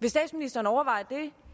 vil statsministeren overveje det